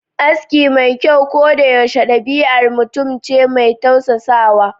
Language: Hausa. Aski mai kyau ko da yaushe dabi'ar mutum ce mai tausasawa